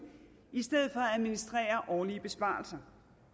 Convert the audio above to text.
i stedet for at administrere årlige besparelser